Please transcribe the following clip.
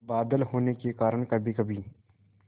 बादल होने के कारण कभीकभी